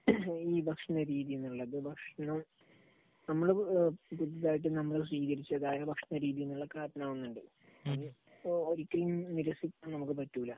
ഈ ഭക്ഷണരീതി എന്നുള്ളത്, ഭക്ഷണ, നമ്മൾ ഇതായിട്ട് നമ്മൾ സ്വീകരിച്ച ഭക്ഷണരീതിയിൽ നിന്നുള്ള കാരണമാകുന്നുണ്ട്. അത് ഒരിക്കലും നിരസിക്കാൻ നമുക്ക് പറ്റൂല.